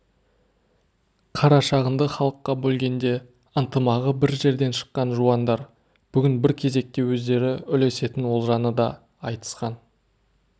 қарашығынды халыққа бөлгенде ынтымағы бір жерден шыққан жуандар бүгін бір кезекте өздері үлесетін олжаны да айтысқан